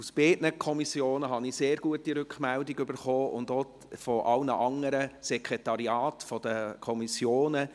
Aus beiden Kommissionen erhielt ich sehr gute Rückmeldungen und auch von allen anderen Sekretariaten der Kommissionen.